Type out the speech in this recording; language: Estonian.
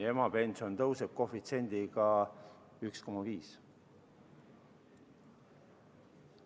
Ja emapension tõuseb koefitsiendiga 1,5.